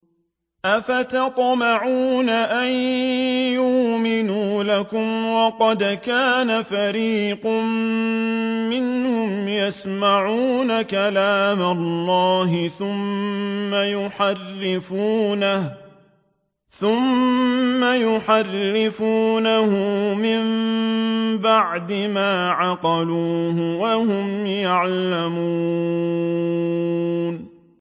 ۞ أَفَتَطْمَعُونَ أَن يُؤْمِنُوا لَكُمْ وَقَدْ كَانَ فَرِيقٌ مِّنْهُمْ يَسْمَعُونَ كَلَامَ اللَّهِ ثُمَّ يُحَرِّفُونَهُ مِن بَعْدِ مَا عَقَلُوهُ وَهُمْ يَعْلَمُونَ